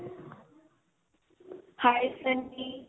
hi